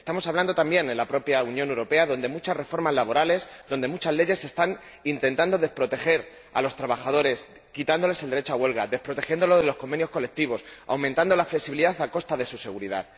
Estamos hablando también de la propia Unión Europea, donde muchas reformas laborales, donde muchas leyes están intentando desproteger a los trabajadores, quitándoles el derecho a la huelga y la protección de los convenios colectivos, aumentando la flexibilidad a costa de su seguridad.